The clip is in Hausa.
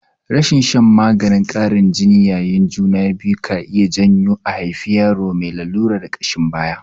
Rashin shan maganin ƙarin jini yayin juna biyu ka iya janyo a haifi yaro mai lalurar ƙashin baya.